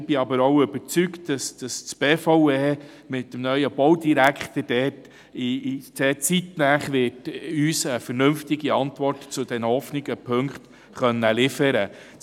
Ich bin aber auch überzeugt, dass die BVE mit dem neuen Baudirektor uns zeitnah eine vernünftige Antwort zu diesen offenen Aspekten liefern wird.